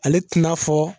Ale tɛna fɔ